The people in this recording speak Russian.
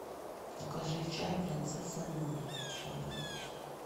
закажи чай принцесса нури черный